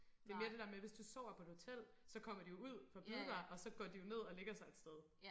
Det mere det der med hvis du sover på et hotel så kommer de jo ud for at bide dig og så går de jo ned og lægger sig et sted